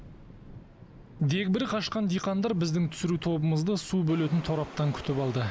дегбірі қашқан диқандар біздің түсіру тобымызды су бөлетін тораптан күтіп алды